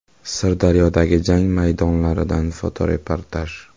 Sirdaryodagi “jang” maydonlaridan fotoreportaj.